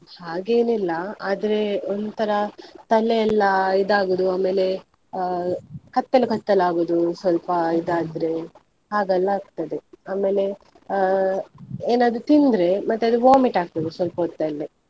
ಹಾಗೇನಿಲ್ಲ ಆದ್ರೆ ಒಂತರಾ, ತಲೆಯೆಲ್ಲಾ ಇದು ಆಗುದು ಆಮೇಲೆ, ಅಹ್ ಕತ್ತಲು, ಕತ್ತಲು, ಆಗುದು ಸ್ವಲ್ಪ ಇದಾದ್ರೆ, ಹಾಗೆಲ್ಲ ಆಗ್ತದೆ ಆಮೇಲೆ ಅಹ್ ಏನಾದ್ರೂ ತಿಂದ್ರೆ ಮತ್ತೆ ಅದು vomit ಆಗ್ತದೆ ಸ್ವಲ್ಪ ಹೊತ್ತಲ್ಲೇ.